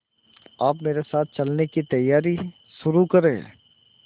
आप मेरे साथ चलने की तैयारी शुरू करें